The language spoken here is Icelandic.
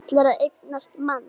Ætlar að eignast mann.